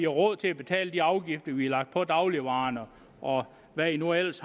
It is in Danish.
råd til at betale de afgifter vi har lagt på dagligvarerne og hvad i nu ellers